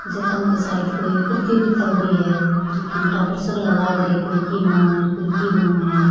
जका के शायद कोई प्रतियोगिता होरी है जकी में टाबर सगळा लाग रे है कोई की बनावे कोई की बनावे है।